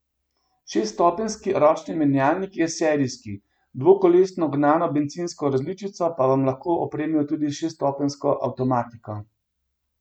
Šeststopenjski ročni menjalnik je serijski, dvokolesno gnano bencinsko različico pa vam lahko opremijo tudi s šeststopenjsko avtomatiko.